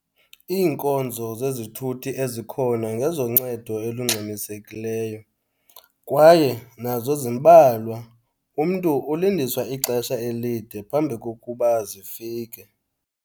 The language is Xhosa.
Iinkonzo zezithuthi ezikhona ngezoncedo elungxamisekileyo kwaye nazo zimbalwa. Umntu ulindiswa ixesha elide phambi kokuba zifike.